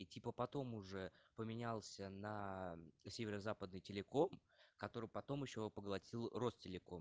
типа потом уже поменялся на северо-западный телеком который потом ещё и поглотил росте телеком